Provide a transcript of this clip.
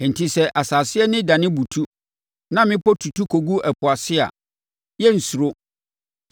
Enti sɛ asase ani dane butu na mmepɔ tutu kɔgu ɛpo ase a, yɛrensuro,